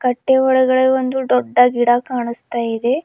ಕಟ್ಟೆ ಒಳಗಡೆ ಒಂದು ದೊಡ್ಡ ಗಿಡ ಕಾಣಸ್ತಾ ಇದೆ.